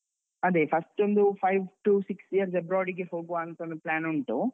ಅದೆ first ಒಂದು five to six years abroad ಗೆ ಹೋಗುವಾಂತ ಒಂದು plan ಉಂಟು.